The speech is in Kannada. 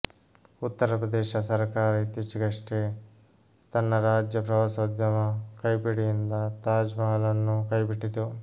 ಉತ್ತರಪ್ರದೇಶ ಸರ್ಕಾರ ಇತ್ತೀಚೆಗಷ್ಟೇ ತನ್ನ ರಾಜ್ಯ ಪ್ರವಾಸೋದ್ಯಮ ಕೈಪಿಡಿಯಿಂದ ತಾಜ್ ಮಹಲ್ ನ್ನು ಕೈಬಿಟ್ಟಿತ್ತು